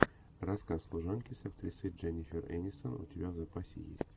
рассказ служанки с актрисой дженнифер энистон у тебя в запасе есть